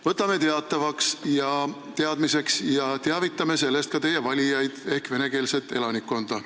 Võtame selle teadmiseks ja teavitame sellest ka teie valijaid ehk venekeelset elanikkonda.